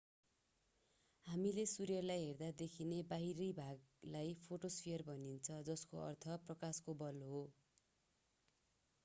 हामीले सूर्यलाई हेर्दा देखिने बाहिरी भागलाई फोटोस्फियर भनिन्छ जसको अर्थ प्रकाशको बल हो